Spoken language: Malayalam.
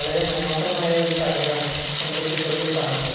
വളരെ മനോഹരമായ ഒരു കടയാണ് നമ്മള് ചിത്രത്തില് കാണുന്നത്.